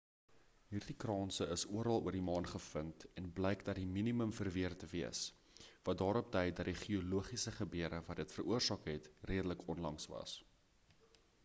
hierdie kranse is oral oor die maan gevind en blyk in die minimum verweer te wees wat daarop dui dat die geologiese gebeure wat dit veroorsaak het redelik onlangs was